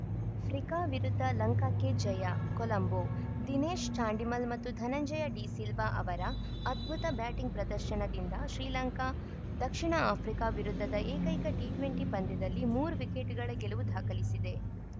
ಫ್ರಿಕಾ ವಿರುದ್ಧ ಲಂಕಾಕ್ಕೆ ಜಯ ಕೊಲಂಬೊ ದಿನೇಶ್‌ ಚಾಂಡಿಮಲ್‌ ಮತ್ತು ಧನಂಜಯ ಡಿಸಿಲ್ವಾ ಅವರ ಅದ್ಭುತ ಬ್ಯಾಟಿಂಗ್‌ ಪ್ರದರ್ಶನದಿಂದ ಶ್ರೀಲಂಕಾ ದಕ್ಷಿಣ ಆಫ್ರಿಕಾ ವಿರುದ್ಧದ ಏಕೈಕ ಟಿ ಟ್ವೆಂಟಿ ಪಂದ್ಯದಲ್ಲಿ ಮೂರು ವಿಕೆಟ್‌ಗಳ ಗೆಲುವು ದಾಖಲಿಸಿದೆ